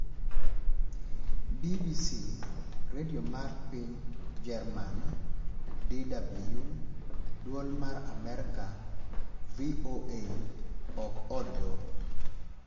BBC, Radio mar piny German- DW, dwol mar Amerka- VOA, ok od doho